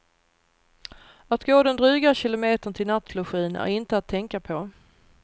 Att gå den dryga kilometern till nattlogin är inte att tänka på.